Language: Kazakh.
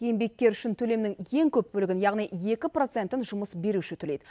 еңбеккер үшін төлемнің ең көп бөлігін яғни екі процентін жұмыс беруші төлейді